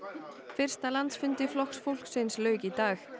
fyrsta landsfundi Flokks fólksins lauk í dag